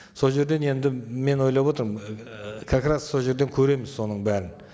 сол жерден енді мен ойлап отырмын ыыы как раз сол жерден көреміз соның бәрін